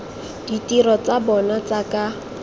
ditiro tsa bona tsa ka